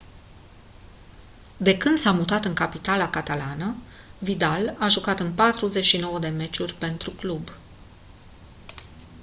de când s-a mutat în capitala catalană vidal a jucat în 49 de meciuri pentru club